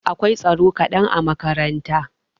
Akwai tsaro kadan a makaranta.